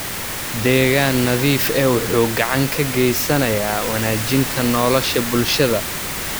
Deegaan nadiif ah wuxuu gacan ka geysanayaa wanaajinta nolosha bulshada.